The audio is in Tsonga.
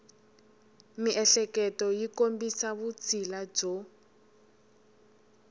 miehleketo yi kombisa vutshila byo